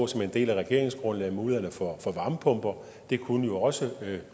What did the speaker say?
som en del af regeringsgrundlaget på mulighederne for varmepumper det kunne også